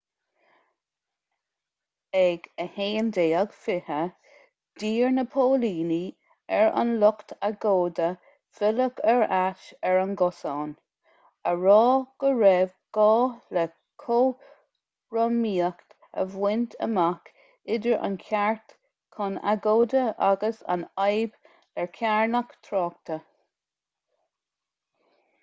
ag 11:20 d'iarr na póilíní ar an lucht agóide filleadh ar ais ar an gcosán á rá go raibh gá le cothromaíocht a bhaint amach idir an ceart chun agóide agus an fhadhb le carnadh tráchta